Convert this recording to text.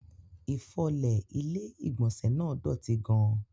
Ifọlé ilẹ̀ igbónsẹ̀ náà dọ́tì gán-an.